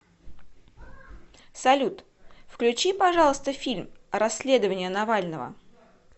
салют включи пожалуйста фильм расследование навального